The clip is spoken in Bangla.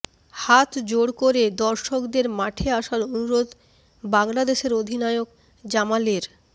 হাত জোড় করে দর্শকদের মাঠে আসার অনুরোধ বাংলাদেশের অধিনায়ক জামালের